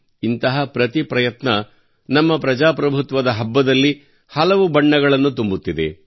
ಇಂತಹ ಪ್ರತಿ ಪ್ರಯತ್ನ ನಮ್ಮ ಪ್ರಜಾಪ್ರಭುತ್ವದ ಹಬ್ಬದಲ್ಲಿ ಹಲವು ಬಣ್ಣಗಳನ್ನು ತುಂಬುತ್ತಿದೆ